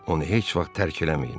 Onu heç vaxt tərk eləməyin.